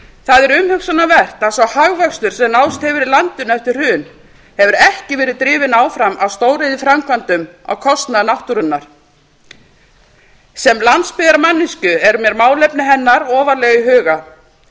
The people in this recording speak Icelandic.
það er umhugsunarvert að sá hagvöxtur sem náðst hefur í landinu eftir hrun hefur ekki verið drifið áfram af stóriðjuframkvæmdum á kostnað náttúrunnar sem landsbyggðarmanneskju er mér málefni hennar ofarlega í huga